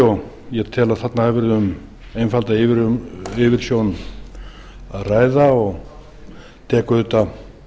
tel að þarna hafi verið um einfalda yfirsjón að ræða og tek auðvitað